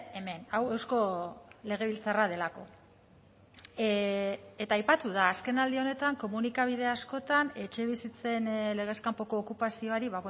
hemen hau eusko legebiltzarra delako eta aipatu da azken aldi honetan komunikabide askotan etxebizitzen legez kanpoko okupazioari